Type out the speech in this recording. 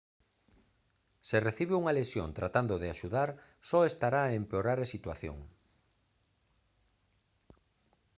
se recibe unha lesión tratando de axudar só estará a empeorar a situación